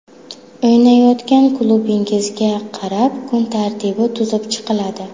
O‘ynayotgan klubingizga qarab kun tartibi tuzib chiqiladi.